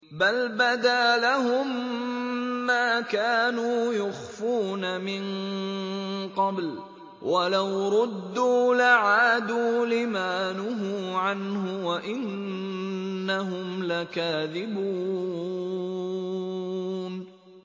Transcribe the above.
بَلْ بَدَا لَهُم مَّا كَانُوا يُخْفُونَ مِن قَبْلُ ۖ وَلَوْ رُدُّوا لَعَادُوا لِمَا نُهُوا عَنْهُ وَإِنَّهُمْ لَكَاذِبُونَ